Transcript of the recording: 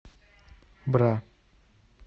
бра